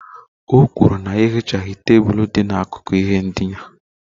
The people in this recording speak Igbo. O kwuru na ya ehichaghị tebụl dị n'akụkụ ihe ndina